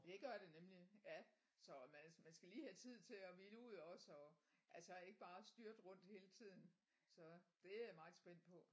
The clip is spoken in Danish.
Det gør det nemlig ja så man skal man skal lige have tid til at hvile ud også og altså ikke bare styrte rundt hele tiden så det er jeg meget spændt på